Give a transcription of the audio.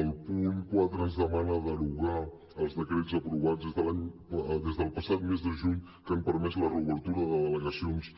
el punt quatre ens demana derogar els decrets aprovats des del passat mes de juny que han permès la reobertura de delegacions